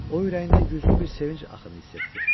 O ürəyində güclü bir sevinc axını hiss etdi.